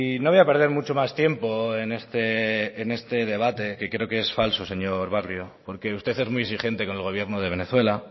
no voy a perder mucho más tiempo en este debate que creo que es falso señor barrio porque usted es muy exigente con el gobierno de venezuela